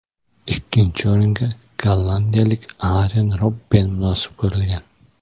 Ikkinchi o‘ringa gollandiyalik Aren Robben munosib ko‘rilgan.